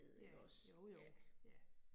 Ja, jo jo, ja